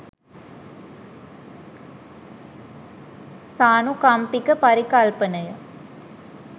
සානුකම්පික පරිකල්පනය